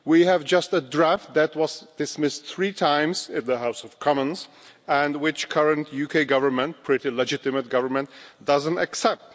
We have just a draft that was dismissed three times in the House of Commons and which the current UK Government a pretty legitimate government doesn't accept.